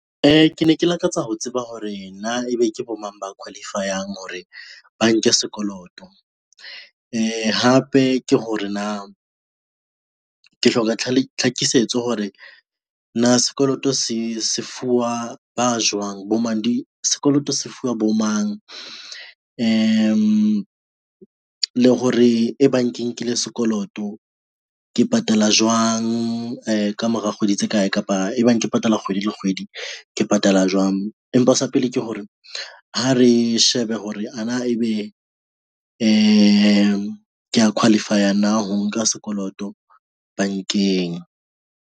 Ke ne ke lakatsa ho tseba hore na ebe ke bo mang ba qualify-ang hore ba nke sekoloto, hape ke hore na, ke hloka tlhakisetso hore na sekoloto se fuwa ba jwang, sekoloto se fuwa bo mang le hore e bang ke nkile sekoloto ke patala jwang ka mora kgwedi tse kae kapa ebang ke patala kgwedi le kgwedi, ke patala jwang. Empa sa pele ke hore ha re shebe hore ana ebe , ke a qualify-a na ho nka sekoloto bankeng.